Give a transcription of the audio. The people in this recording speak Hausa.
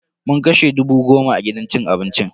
Mun kashe dubu goma a gidan cin abincin.